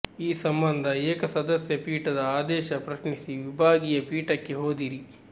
ಈ ಸಂಬಂಧ ಏಕ ಸದಸ್ಯ ಪೀಠದ ಆದೇಶ ಪ್ರಶ್ನಿಸಿ ವಿಭಾಗೀಯ ಪೀಠಕ್ಕೆ ಹೋದಿರಿ